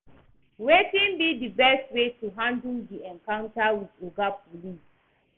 wetin be di best way to handle di encounter with oga police?